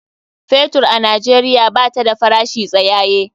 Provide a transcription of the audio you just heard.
Fetur a Najeriya bata da farashi tsayaye.